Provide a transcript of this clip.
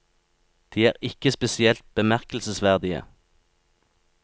De er ikke er spesielt bemerkelsesverdige.